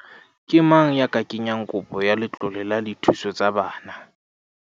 Ke mang ya ka kenyang kopo ya letlole la dithuso tsa bana?